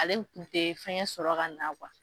Ale tun tɛ fɛngɛ sɔrɔ ka na kuwa.